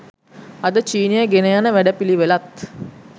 අද චීනය ගෙනයන වැඩපිළිවෙළත්